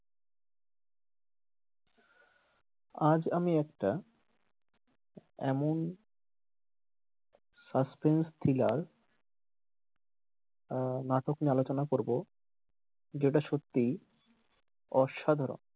আজ আমি একটা এমন suspence, thriller আহ নাটক নিয়ে আলোচনা করবো যেটা সত্যি অসাধারণ।